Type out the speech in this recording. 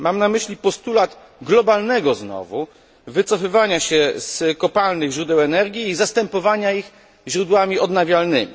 Mam na myśli postulat globalnego znowu wycofywania się z kopalnych źródeł energii i zastępowania ich źródłami odnawialnymi.